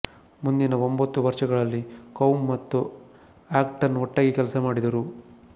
ಮುಂದಿನ ಒಂಬತ್ತು ವರ್ಷಗಳಲ್ಲಿ ಕೌಮ್ ಮತ್ತು ಆಕ್ಟನ್ ಒಟ್ಟಾಗಿ ಕೆಲಸ ಮಾಡಿದರು